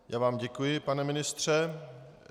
Já vám děkuji, pane ministře.